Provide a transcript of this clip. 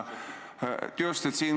Just.